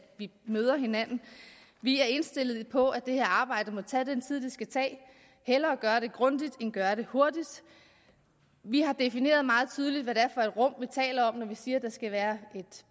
møde hinanden vi er indstillet på at det her arbejde må tage den tid det skal tage hellere gøre det grundigt end gøre det hurtigt vi har defineret meget tydeligt hvad det er for et rum vi taler om når vi siger at der skal være et